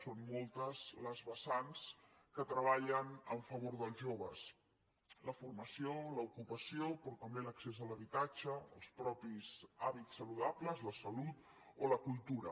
són moltes les vessants que treballen en favor dels joves la formació l’ocupació però també l’accés a l’habitatge els mateixos hàbits saludables la salut o la cultura